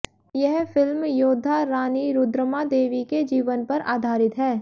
यह फिल्म योद्धा रानी रुद्रमादेवी के जीवन पर आधारित है